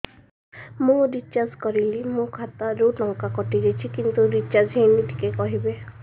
ମୁ ରିଚାର୍ଜ କରିଲି ମୋର ଖାତା ରୁ ଟଙ୍କା କଟି ଯାଇଛି କିନ୍ତୁ ରିଚାର୍ଜ ହେଇନି ଟିକେ କହିବେ